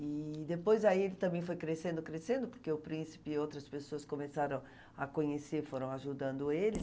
E depois aí ele também foi crescendo, crescendo, porque o Príncipe e outras pessoas começaram a conhecer, foram ajudando ele.